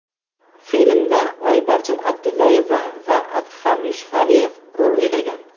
Filmda Oybarchin Abdullayeva va Adham Yusufaliyev rol o‘ynagan.